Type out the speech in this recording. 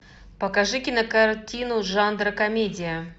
покажи кинокартину жанра комедия